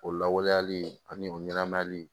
O lawaleyali ani o ɲɛnɛmayali